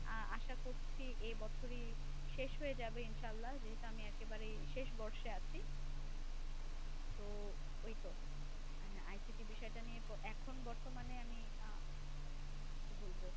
আহ আশা করছি এই বছরই শেষ হয়ে যাবে ইনশাআল্লাহ, যেহেতু আমি একেবারে শেষ বর্ষে আছি। তো ওই তো ICT বিষয়টা নিয়ে এখন বর্তমানে আমি আহ বলব।